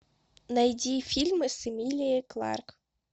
найди фильмы с эмилией кларк